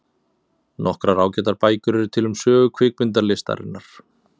Nokkrar ágætar bækur eru til um sögu kvikmyndalistarinnar.